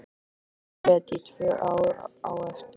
En ég grét í tvö ár á eftir.